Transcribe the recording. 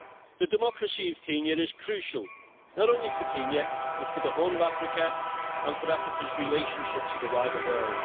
The democracy of Kenya is crucial, not only for Kenya, but for the whole of Africa and for Africa's relationships with the wider world.